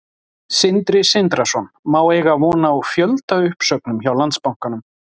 Sindri Sindrason: Má eiga von á fjöldauppsögnum hjá Landsbankanum?